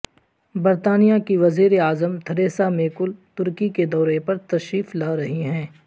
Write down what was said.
برطانیہ کی وزیر اعظم تھریسا مے کل ترکی کے دورے پر تشریف لا رہی ہیں